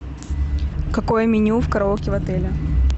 какое меню в караоке в отеле